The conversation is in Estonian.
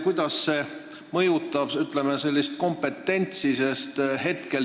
Kuidas see mõjutab, ütleme, kompetentsi?